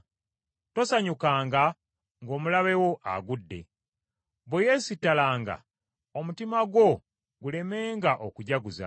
Tosanyukanga ng’omulabe wo agudde, bwe yeesittalanga omutima gwo gulemenga okujaguza.